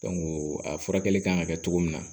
a furakɛli kan ka kɛ cogo min na